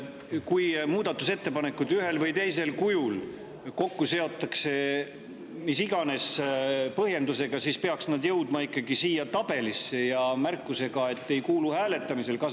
Kui muudatusettepanekud ühel või teisel kujul seotakse kokku mis iganes põhjendusega, siis peaksid need jõudma ikkagi siia tabelisse märkusega, et need ei kuulu hääletamisele.